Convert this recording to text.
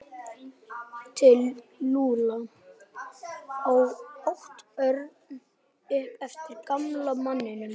Til Lúlla? át Örn upp eftir gamla manninum.